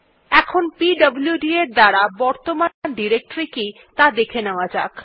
এখন PWD command এর দ্বারা বর্তমান ডিরেক্টরী কি ত়া দেখে নেওয়া যাক